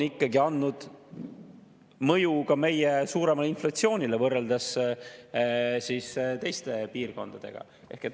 See on andnud mõju meie suuremale inflatsioonile võrreldes teiste piirkondadega.